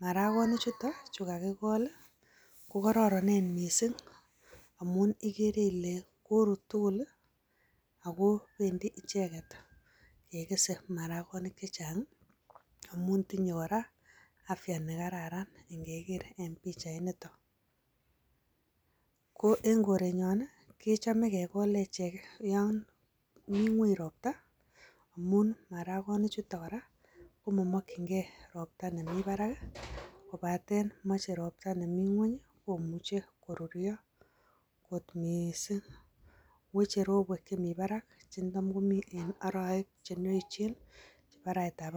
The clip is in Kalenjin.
Maragonichuto chu kagikol ii, kokororonen mising. Amun ikere ile korut tugul, ako pendi icheget kekese maragonik chechang'. Amun tinye kora afya nekararan ng'eker en pichainitok. Ko en korenyon, kechome kekol echek, Yan mii ngweny ropta amun, maragonichuto kora komokyinkee ropta nemi barak, kobaten moche ropta nemi ngweny komuche koruryo ng'ot mising. Weche ropwek chemi barak chetam komii en orowek.